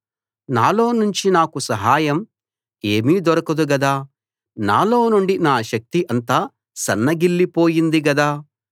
నాలో నుంచి నాకు సహాయం ఏమీ దొరకదు గదా నాలో నుండి నా శక్తి అంతా సన్నగిల్లిపోయింది గదా